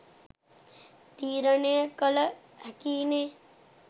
තීරණය කළ හැකියිනෙ